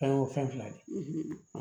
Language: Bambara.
An y'o fɛn fila de ye